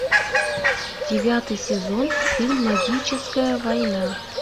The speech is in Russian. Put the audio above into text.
девятый сезон фильм магическая война